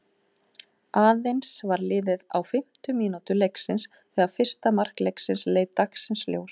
Aðeins var liðið á fimmtu mínútu leiksins þegar fyrsta mark leiksins leit dagsins ljós.